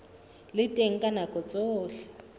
le teng ka nako tsohle